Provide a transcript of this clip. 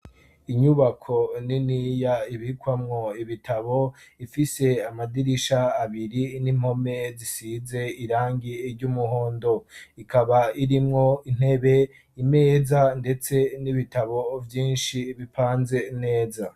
Inyubako niniya ibikwamwo ibitabo ifise amadirisha abiri n'impome zisize irangi ry'umuhondo, ikaba irimwo intebe, imeza, ndetse n'ibitabo vyinshi bipanze neza.